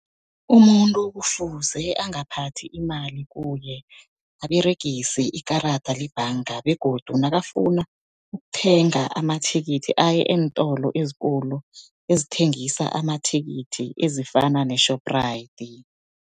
Umuntu kufuze angaphathi imali kuye, aberegise ikarada lebhanga. Begodu nakafuna ukuthenga amathikithi, aye eentolo ezikulu ezithengisa amathikithi ezifana ne-Shoprite.